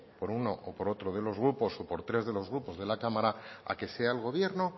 por uno o por otro de los grupos o por tres de los grupos de la cámara a que sea el gobierno